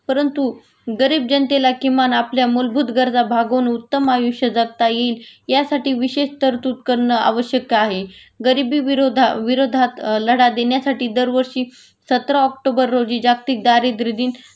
परंतु गरीब जनतेला किंमान आपल्या मूलभूत गरजा भागून उत्तम आयुष्य जगात येईल यासाठी विशेष तरतूद कारण आवश्यक आहे.गरिबीविरोध विरोधात लढा देण्यासाठी दरवर्षी सतरा ऑक्टोबर रोजी जागतिक दारिद्र्य दिन